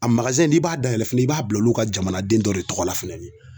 A n'i b'a dayɛlɛ fana i b'a bila olu ka jamanaden dɔ de tɔgɔ la fɛnɛ.